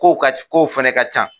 Kow ka kow fɛnɛ ka can.